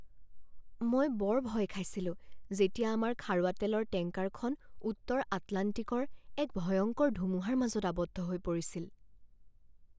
মই বৰ ভয় খাইছিলো যেতিয়া আমাৰ খাৰুৱা তেলৰ টেংকাৰখন উত্তৰ আটলাণ্টিকৰ এক ভয়ংকৰ ধুমুহাৰ মাজত আবদ্ধ হৈ পৰিছিল।